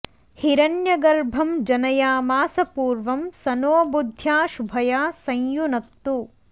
हिरण्यगर्भं जनयामास पूर्वं स नो बुद्ध्या शुभया संयुनक्तु